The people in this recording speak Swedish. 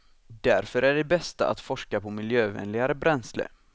Därför är det bästa att forska på miljövänligare bränsle.